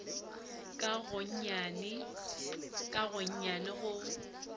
ka gonnyane ka gonnyane go